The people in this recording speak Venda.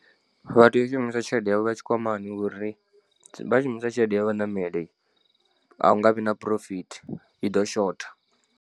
Vha tea u shumisa tshelede yavho ya tshikwamani ngori vha shumisa tshelede ya vhaṋameli a hu nga vhi na phurofithi i ḓo shotha.